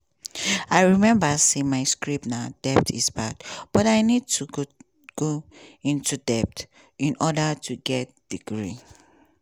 i remember say my script na "debt is bad' but i need to go into debt in order to get degree.